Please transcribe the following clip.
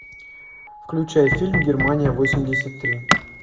включай фильм германия восемьдесят три